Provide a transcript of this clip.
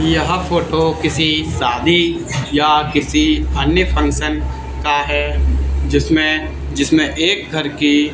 यहां पर तो किसी शादी या किसी अन्य फंक्शन का है जिसमें जिसमें एक घर की--